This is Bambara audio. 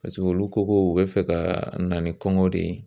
Paseke olu ko ko u bɛ fɛ ka na ni kɔŋɔ de ye.